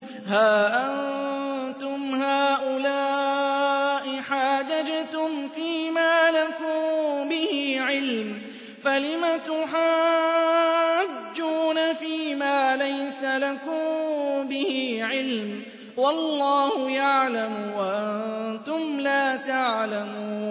هَا أَنتُمْ هَٰؤُلَاءِ حَاجَجْتُمْ فِيمَا لَكُم بِهِ عِلْمٌ فَلِمَ تُحَاجُّونَ فِيمَا لَيْسَ لَكُم بِهِ عِلْمٌ ۚ وَاللَّهُ يَعْلَمُ وَأَنتُمْ لَا تَعْلَمُونَ